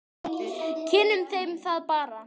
Kynnum þeim það bara.